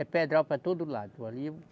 É pedral para todo lado.